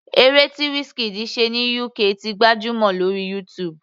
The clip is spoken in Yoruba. Eré tí Wizkid ṣe ní UK ti gbajúmọ̀ lórí YouTube.